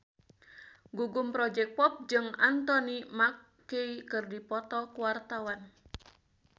Gugum Project Pop jeung Anthony Mackie keur dipoto ku wartawan